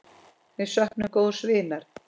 Við söknum góðs vinar.